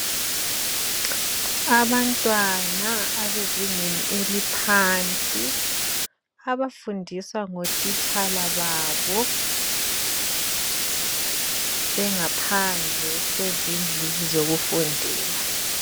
Abantwana abezingeni eliphansi. Abafundiswa ngotitshala babo. Bengaphandle kwezindlu zokufundela.